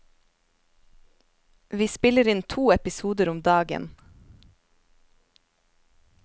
Vi spiller inn to episoder om dagen.